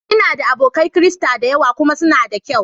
Ina da abokai Kirista da yawa kuma suna da ƙyau